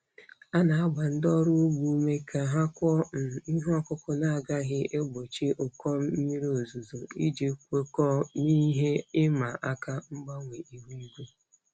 A na-agba ndị ọrụ ugbo ume ka ha kụọ um ihe ọkụkụ na-agaghị egbochi ụkọ mmiri ozuzo iji kwekọọ n'ihe ịma aka mgbanwe ihu igwe.